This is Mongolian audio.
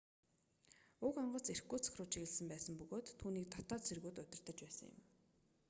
уг онгоц иркутск руу чиглэсэн байсан бөгөөд түүнийг дотоод цэргүүд удирдаж байсан юм